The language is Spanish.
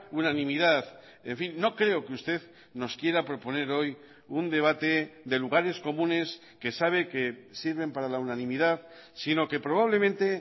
unanimidad en fin no creo que usted nos quiera proponer hoy un debate de lugares comunes que sabe que sirven para la unanimidad sino que probablemente